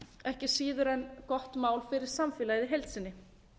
ekki síður en gott mál fyrir samfélagið í heild sinni